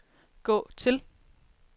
gå til